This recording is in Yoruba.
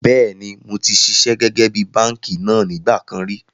Bẹ́ẹ̀ni moti ṣiṣẹ́ gẹ́gẹ́ bí báànkì náà nígbà kan ríi